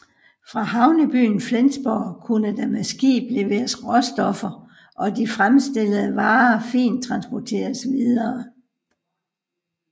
Fra havnebyen Flensborg kunne der med skib leveres råstoffer og de fremstillede varer fint transporteres videre